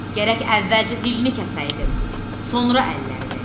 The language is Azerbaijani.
Gərək əvvəlcə dilini kəsəydim, sonra əllərini.